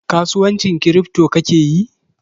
kasuwancin kiripto ka kake yi?